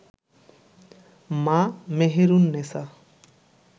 মা মেহেরুন নেছা